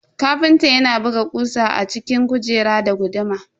Ƙafintan yana buga kusa a cikin kujerar da guduma.